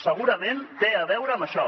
segurament té a veure amb això